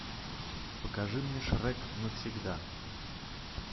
покажи мне шрек навсегда